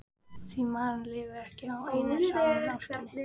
því maðurinn lifir ekki á einni saman ástinni.